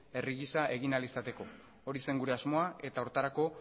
herri gisa egin ahal izateko hori zen gure asmoa eta horretarako